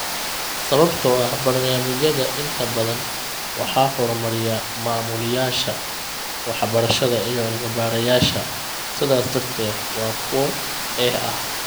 Sababtoo ah barnaamijyada inta badan waxaa horumariya maamulayaasha waxbarashada iyo cilmi-baarayaasha sidaas darteed waa kuwo eex ah.